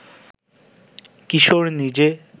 কিশোর নিজে